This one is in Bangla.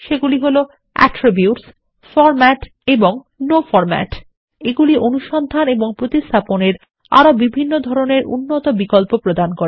সেগুলি হলAttirbutes ফরম্যাট এবং নো ফরম্যাট এগুলি অনুসন্ধান এবং প্রতিস্থাপনেরআরোবিভিন্ন ধরনেরউন্নতবিকল্পপ্রদান করে